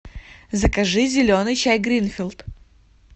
закажи зеленый чай гринфилд